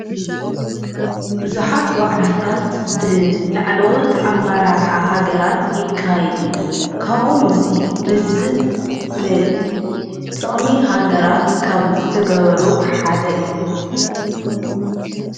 ብዙኃት ዋዕላታት ብላዕለወት ኣብ ማራርኃ ሃገራት ይካይድ እዩ ካዎምዙይ ልዝብ ን ጥቕሚ ሃገራት ካብ ዘተገበሩ ሓደ እዩ።